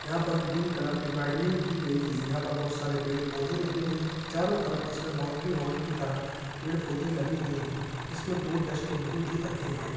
यहाँ पर green colour की गार्डनिंग की गई है यहाँ पर बहुत सारे पड़े पौधे लगे हुए है चारों तरफ इसमें बाउंड्री वॉल की तरह पेड़-पौधे लगे हुए है इसमें दो डस्ट्बिन भी रखे हैं।